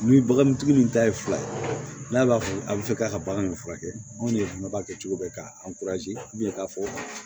Ni bagantigi nin ta ye fila ye n'a fɔ a bɛ fɛ k'a ka bagan in furakɛ anw de fana b'a kɛ cogo bɛ k'a k'a fɔ